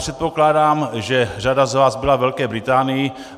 Předpokládám, že řada z vás byla ve Velké Británii.